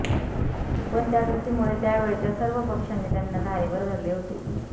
पण त्या कृतीमुळे त्या वेळच्या सर्व पक्षांनी त्यांना धारेवर धरले होते